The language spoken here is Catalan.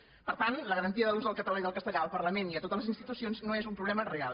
per tant la garantia de l’ús del català i del castellà al parlament i a totes les institucions no és un problema real